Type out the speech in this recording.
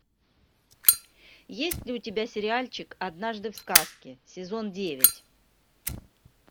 есть ли у тебя сериальчик однажды в сказке сезон девять